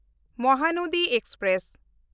Mahanadi express